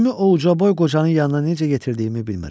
Özümü o uca boy qocanın yanına necə yetirdiyimi bilmirəm.